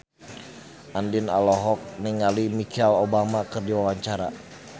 Andien olohok ningali Michelle Obama keur diwawancara